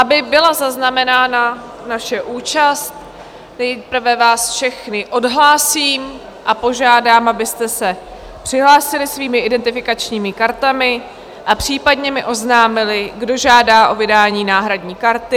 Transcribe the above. Aby byla zaznamenána naše účast, nejprve vás všechny odhlásím a požádám, abyste se přihlásili svými identifikačními kartami a případně mi oznámili, kdo žádá o vydání náhradní karty.